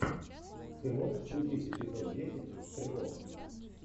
ты можешь включить эпизод десять стрелок